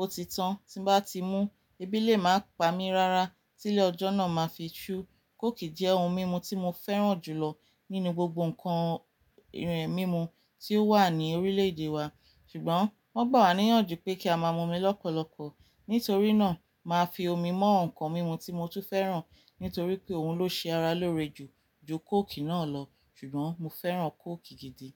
ó ti tán, tí n bá ti mú, ebi lé máa pa mí rárá, tí ilé ọjọ́ náà máa fi ṣú. Kóòkì jẹ́ ohun mímu tí mo fẹ́ràn jù lọ nínú gbogbo ǹkan mímu tí ó wà ní orílẹ̀-èdè wa, ṣùgbọ́n wọ́n gbà wá níyànjú pé kí a máa mu omi lọ́pọ̀lọpọ̀. Nítorí náà, màá fi omi mọ ǹkan mímu tí mo tún fẹ́ràn, nítorí pé òun ló ṣe ara lóore jù ju kóòkì náà lọ, ṣùgbọ́n mo fẹ́ràn kóòkì gidi.